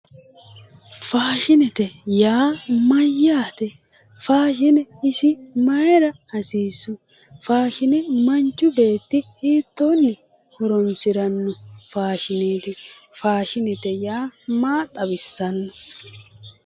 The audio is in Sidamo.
Faashinete yaa mayate, faashine isi maayira hasiisu ,faashine manchi beetti hiittoni horonsirano ,faashinete yaa maa xawisano